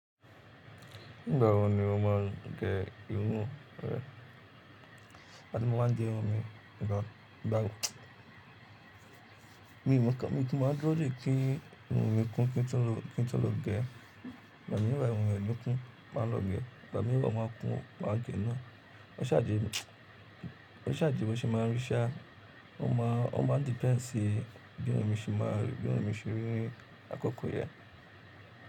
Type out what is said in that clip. Nígbà wo ni o máa gẹ irun rẹ? Ìgbà tí mo máa ń gẹ irun mi nígbà wo? Mi ò mọ̀, kí mo má dúró dé kí irun mi kún kí n tó lo, kí n tó lo gẹ̀ ẹ́. Ìgbà mìíràn irun mi ò ní kun, màá lo gẹ̀ ẹ́. Ìgbà mìíràn máà kún, màá gè ẹ́ náà. Ó ṣáájé, ó ṣáájé, ó ṣẹ máa ń rí iṣẹ́, ó máa, ó máa depend sí bí irun mi ṣe máa rí, bí irun mi ṣe rí rí akọkọ yẹn.